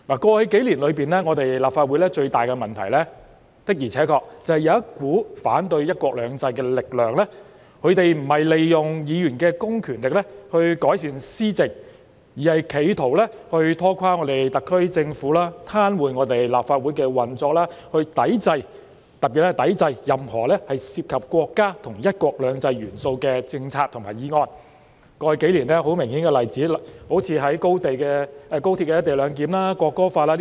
過去數年，立法會最大的問題的而且確便是有一股反對"一國兩制"的力量，不是利用議員的公權力以改善施政，而是企圖拖垮特區政府的施政、癱瘓立法會的運作，特別是抵制任何涉及國家和"一國兩制"元素的政策和議案；過去數年，很明顯的例子是有關高鐵"一地兩檢"和《國歌條例》。